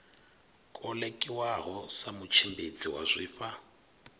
kolekiwaho sa mutshimbidzi wa zwifha